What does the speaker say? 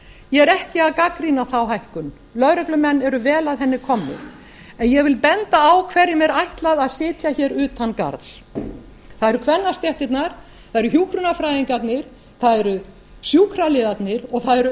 ég er ekki að gagnrýna þá hækkun lögreglumenn eru vel að henni komnir en ég vil benda á hverjum er ætlað að sitja hér utan garðs það eru kvennastéttirnar það eru hjúkrunarfræðingarnir það eru sjúkraliðarnir og það eru